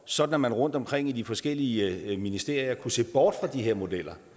sådan at man rundtomkring i de forskellige ministerier kunne se bort fra de her modeller